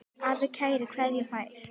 Afi kærar kveðjur fær.